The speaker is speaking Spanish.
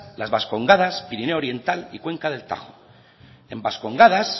las vascongadas pirineo oriental y cuenca del tajo en vascongadas